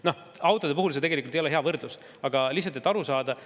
Noh, autode puhul see tegelikult ei ole hea võrdlus, aga lihtsalt, et aru saada.